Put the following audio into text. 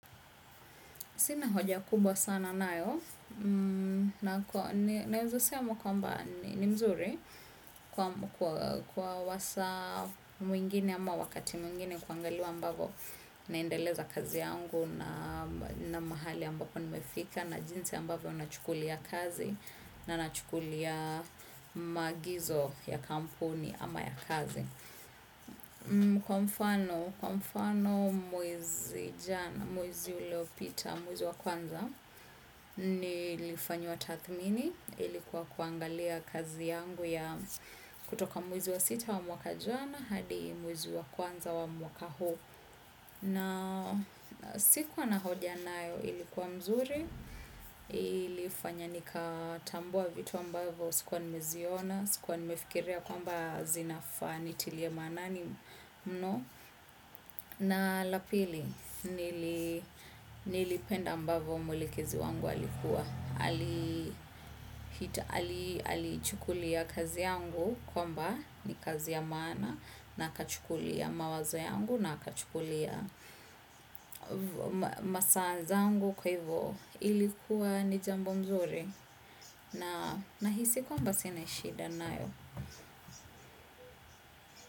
Sina hoja kubwa sana nayo, naeza sema kwamba ni mzuri kwa wasa mwingine ama wakati mwingine kwangaliwa ambavo naendeleza kazi yangu na mahali ambapo nimefika na jinsi ambavo nachukulia kazi na nachukulia maagizo ya kampuni ama ya kazi. Kwa mfano kwa mfano mwezi uliopita mwezi wa kwanza nilifanyiwa tathmini ilikua kuangalia kazi yangu ya kutoka mwezi wa sita wa mwaka jana hadi mwezi wa kwanza wa mwaka huu sikuwa na hoja nayo, ilikuwa mzuri. Ilifanya nika tambua vitu ambavo sikua nimeziona. Sikua nimefikiria kwamba zinafaa nitilie maanani mno. Na la pili nilipenda ambavo mwelekezi wangu alikuwa alichukulia kazi yangu kwamba ni kazi ya maana na akachukulia mawazo yangu na akachukulia masaa nzangu kwa hivyo ilikuwa ni jambo nzuri na nahisi kwamba sine shida nayo.